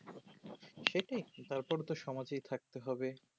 সেটাই তো সত্রন্ত্র সমাজ এই থাকতে হবে